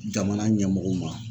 Jamana ɲɛmɔgɔw ma.